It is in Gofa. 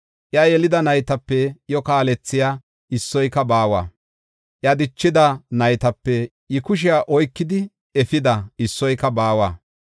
Iya yelida naytape iyo kaalethiya issoyka baawa; iya dichida naytape I kushiya oykidi efida issoyka baawa.